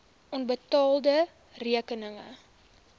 onbetaalde rekeninge